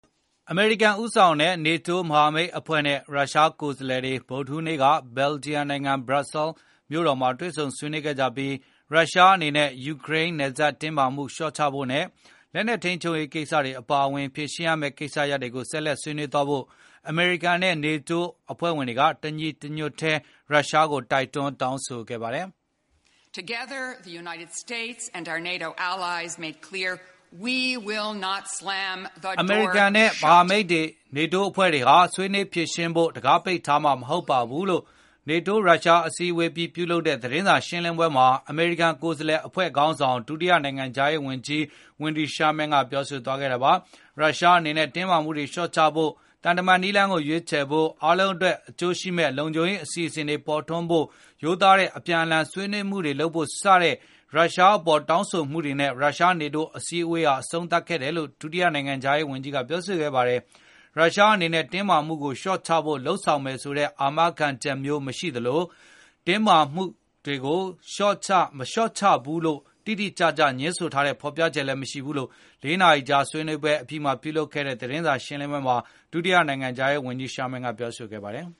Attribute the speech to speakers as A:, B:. A: အမေရိကန်ဦးဆောင်တဲ့ NATO မဟာမိတ်အဖွဲ့နဲ့ ရုရှားကိုယ်စားလှယ်တွေ ဗုဒ္ဓဟူးနေ့က ဘယ်ဂျီယံနိုင်ငံ ဘရပ်ဆဲလ် မြို့တော်မှာတွေဆုံဆွေးနွေးခဲ့ကြပြီး ရုရှားအနေနဲ့ ယူကရိန်း နယ်စပ်တင်း မာမှုတွေလျော့ချဖို့နဲ့ လက်နှက်ထိန်းချုပ်ရေးကိစ္စအပါအဝင် ဖြေရှင်းရမယ့်ကိစ္စရပ်တွေကု ိဆက်လက် ဆွေးနွေးသွားဖို့ အမေရိကန်နဲ့ NATO အဖွဲ့ဝင် တွေကတညီတညွတ်ထဲ ရုရှားကိုတိုက်တွန်း တောင်းဆိုခဲ့ပါတယ်။ အမေရိကန်နဲ့မဟာမိတ် နေတိုးအနေနဲ့ ဆွေးနွေးဖြေရှင်းဖို့ကိုတခါးပိတ်ထားမှာ မဟုတ်ပါဘူးလို့ NATO ရုရှားအစည်းအဝေးအပြီးပြုလုပ်တဲသတင်းစာရှင်းလင်းပွဲမှာအမေရိကန်ကိုယ်စားလှယ်အဖွဲခေါင်းဆောင် ဒုတိယနိုင်ငံခြားရေးဝန်ကြီး Wendy Sherman ပြောဆိုခဲ့တာပါ။ ရုရှားအနေနဲ့တင်းမာမှုတွေလျော့ချဖို့၊ သံတမန်နည်းလမ်းကိုရွေးချယ်ဖို့၊ အားလုံး အတွက်အကျိုးရှိမယ့် လုံခြုံရေးအစီစဉ်တွေပေါ်ထွန်းလာဖိုရိုသားတဲ့အပြန်အလှန် ဆွေးနွေးမှုတွေလုပ်ဖို့စတဲ့ ရုရှား အပေါ်တောင်းဆိုမှုတွေနဲ့ ရုရှား-နေတိုးအစည်း အဝေးဟာအဆုံးသတ်ခဲ့တယ်လို့ ဒုတိယနိုင်ငံခြားရေး ဝန်ကြီး Wendy Sherman ကပြောဆိုခဲ့ပါတယ်။ ရုရှားအနေနဲ့တင်းမှာမှုတွေကိုလျော့ချဖို့လုပ်ဆောင်မယ်ဆိုတဲ့အာမခံချက်မျိုးမရှိသလို၊ တင်းမာမှု တွေကိုလျော့မချဘူးလို့တိတိကျကျငြင်းဆိုတဲ့ဖေါ်ပြချက်လည်းမရှိဘူးလို့ ၄ နာရီကြာ ဆွေးနွေးပွဲ အပြီးပြုလုပ်ခဲ့တဲ့ သတင်းစာရှင်းလင်းပွဲမှာ ဒုဝန်ကြီး Sharman ကပြောဆို ခဲ့ပါတယ်။